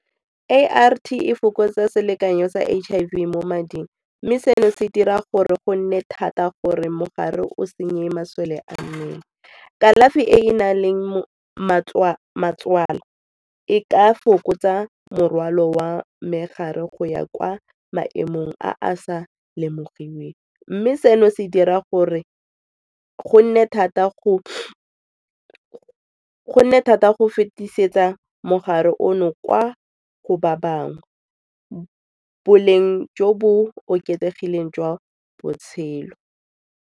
A_R_T e fokotsa selekanyo sa H_I_V mo mading mme seno se dira gore go nne thata gore mogare o senye masole a mmele. Kalafi e e nang le e ka fokotsa morwalo wa megare go ya kwa maemong a a sa lemogiweng mme seno se dira gore go nne thata go fetisetsa mogare ono kwa go ba bangwe ba boleng jo bo oketsegileng jwa botshelo.